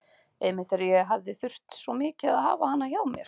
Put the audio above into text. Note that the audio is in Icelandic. Einmitt þegar ég hefði þurft svo mikið að hafa hana hjá mér.